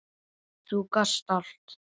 Þú gast allt.